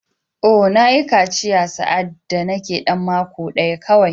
Oh! Na yi kaciya sa’ad da nake ɗan mako ɗaya kawai.